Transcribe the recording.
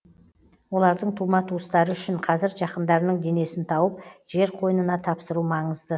олардың тума туыстары үшін қазір жақындарының денесін тауып жер қойнына тапсыру маңызды